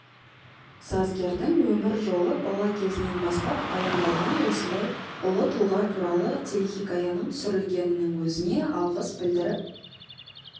сазгердің өмір жолыбала кезінен бастап баяндалған осындай ұлы тұлға туралы телехикаяның түсірілгенінің өзіне алғыс білдіріп